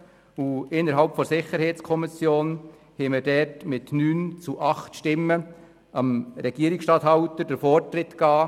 Innerhalb der SiK wurde mit 9 zu 8 Stimmen dem Regierungsstatthalter der Vorzug gegeben.